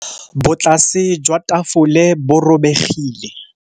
Botlasê jwa tafole bo robegile.